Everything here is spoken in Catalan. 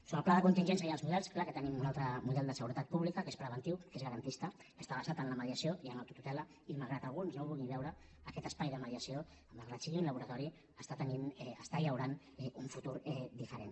sobre el pla de contingència i els models clar que tenim un altre model de seguretat pública que és preventiu que és garantista que està basat en la mediació i en l’autotutela i malgrat que alguns no ho vulguin veure aquest espai de mediació malgrat que sigui un laboratori està llaurant un futur diferent